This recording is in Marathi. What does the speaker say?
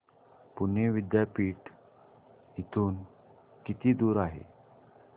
पुणे विद्यापीठ इथून किती दूर आहे